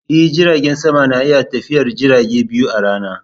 E, jiragen sama na iya tafiyar jirage biyu a rana.